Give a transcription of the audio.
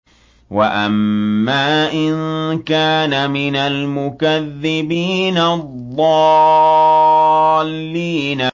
وَأَمَّا إِن كَانَ مِنَ الْمُكَذِّبِينَ الضَّالِّينَ